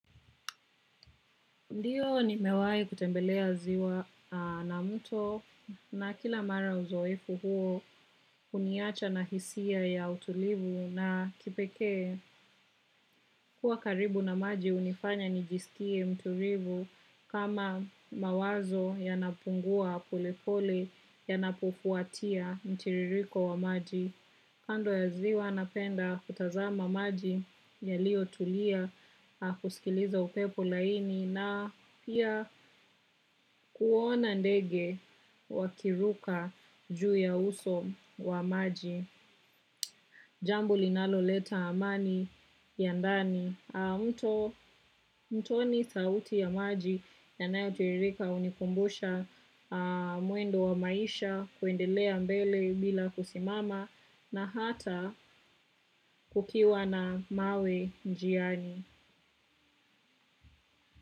Ndiyo ni mewai kutembelea ziwa na mto na kila mara uzoefu huo uniacha na hisia ya utulivu na kipeke kuwa karibu na maji unifanya nijisikie mturivu kama mawazo ya napungua pole pole yanapofuatia mitiririko wa maji. Kando ya ziwa napenda kutazama maji ya lio tulia kusikiliza upepo laini na pia kuona ndege wakiruka juu ya uso wa maji. Jambo linalo leta amani ya ndani. Mtoni sauti ya maji ya nayo tiririka unikumbusha muendo wa maisha kuendelea mbele bila kusimama na hata kukiwa na mawe njiani.